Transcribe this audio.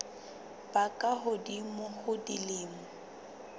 ba ka hodimo ho dilemo